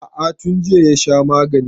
A'a tun jiya ya sha maganin